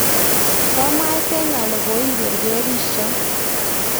koamwaite ale koiberberisio